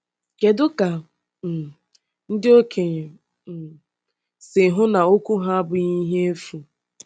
Kedu ka um ndị okenye um si hụ na okwu ha abụghị ihe efu?